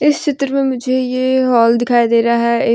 चित्र में मुझे ये होल दिखाई दे रहा है।